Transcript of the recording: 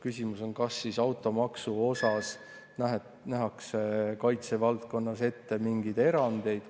Küsimus on, kas automaksu osas nähakse kaitse valdkonnas ette mingeid erandeid.